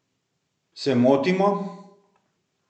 Se motimo?